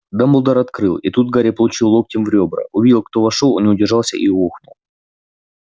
дамблдор открыл и тут гарри получил локтем в ребра увидев кто вошёл он не удержался и охнул